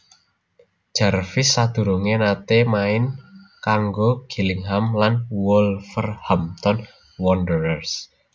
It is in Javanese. Jarvis sadurungé naté main kanggo Gillingham lan Wolverhampton Wanderers